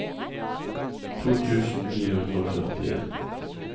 to tusen ni hundre og førtien